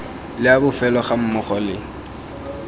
le a bofelo gammogo le